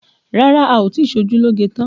Rárá, a ò tí ì ṣe ojú lóge tán